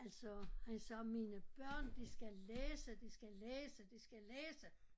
Altså han sagde mine børn de skal læse de skal læse de skal læse